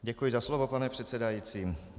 Děkuji za slovo, pane předsedající.